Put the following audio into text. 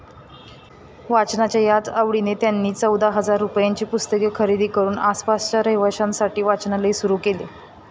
वाचनाच्या याच आवडीने त्यांनी चौदा हजार रुपायांची पुस्तके खरेदी करून आसपासच्या रहिवाश्यांसाठी वाचनालय सुरु केले.